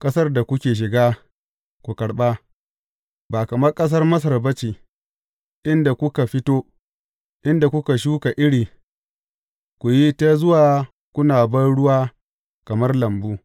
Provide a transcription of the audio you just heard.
Ƙasar da kuke shiga, ku karɓa, ba kamar ƙasar Masar ba ce, inda kuka fito, inda kuka shuka iri, ku yi ta zuwa kuna banruwa kamar lambu.